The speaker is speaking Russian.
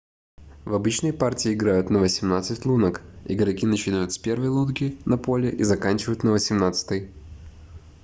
в обычной партии играют на восемнадцать лунок игроки начинают с первой лунки на поле и заканчивают на восемнадцатой